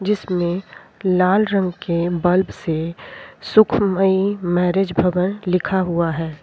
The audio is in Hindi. जिसमें लाल रंग के बल्ब से सुखमयी मैरिज भवन लिखा हुआ है।